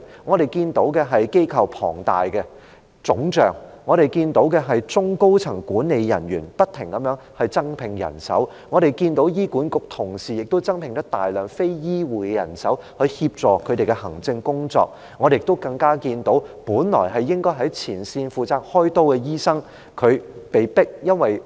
我們看見機構龐大腫脹；我們看見中高層管理人員不停地增聘人手；我們看見醫管局的同事也增聘大量非醫護的人手來協助他們的行政工作，我們更看見本來應該在前線負責開刀的醫生被迫成為管理層......